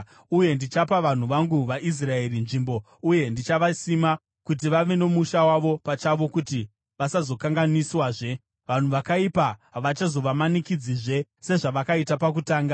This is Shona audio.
Uye ndichapa vanhu vangu vaIsraeri nzvimbo uye ndichavasima kuti vave nomusha wavo pachavo kuti vasazokanganiswazve. Vanhu vakaipa havachazovamanikidzazve, sezvavakaita pakutanga